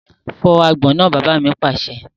Fọ́ àgbọn náà! Bàbá mi pàṣẹ.